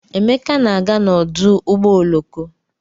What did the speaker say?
Emeka na-aga n'ọdụ ụgbọ oloko.